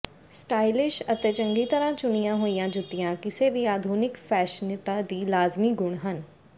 stylish ਅਤੇ ਚੰਗੀ ਤਰ੍ਹਾਂ ਚੁਣੀਆਂ ਹੋਈਆਂ ਜੁੱਤੀਆਂ ਕਿਸੇ ਵੀ ਆਧੁਨਿਕ ਫੈਸ਼ਨਿਤਾ ਦੀ ਲਾਜ਼ਮੀ ਗੁਣ ਹਨ